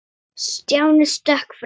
Stjáni stökk fram.